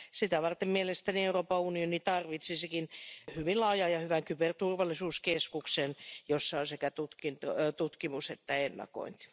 Sitä varten mielestäni Euroopan unioni tarvitsisikin hyvin laajan ja hyvän kyberturvallisuuskeskuksen, jossa on sekä tutkimusta että ennakointia.